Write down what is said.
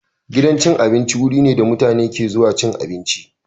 Gidan cin abinci wuri ne da mutane ke zuwa cin abinci.